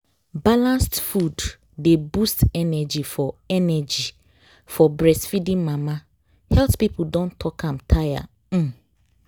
balanced food dey boost energy for energy for breastfeeding mama. health people don talk am tire um